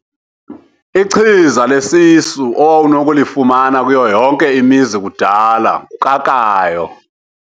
Ichiza lesisu owawunokulifumana kuyo yonke imizi kudala ngukrakrayo.